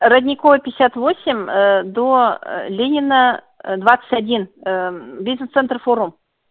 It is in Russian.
родниковая пятьдесят восемь до ленина двадцать один бизнес-центр форум